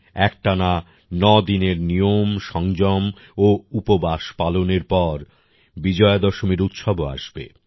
একটানা নদিনের নিয়ম সংযম ও উপবাস পালনের পর বিজয়া দশমীর উৎসবও আসবে